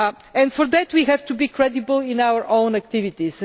and for that we have to be credible in our own activities.